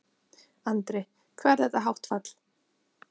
Andri: Hvað er þetta hátt fall?